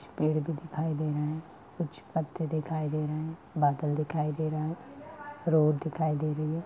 कुछ पेड़ भी दिखाई दे रहे हैं कुछ पत्ते दिखाई दे रहे हैं बादल दिखाई दे रहे हैं रोड दिखाई दे रही है।